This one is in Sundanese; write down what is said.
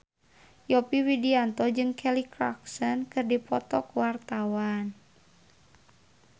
Yovie Widianto jeung Kelly Clarkson keur dipoto ku wartawan